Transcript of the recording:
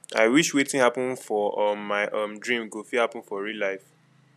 i wish wetin happen for um my um dream go fit happen for real life